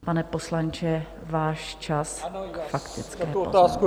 Pane poslanče, váš čas k faktické poznámce.